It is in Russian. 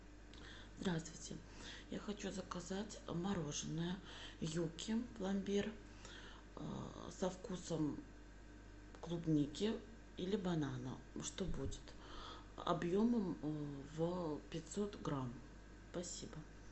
здравствуйте я хочу заказать мороженное юкки пломбир со вкусом клубники или банана что будет объем в пятьсот грамм спасибо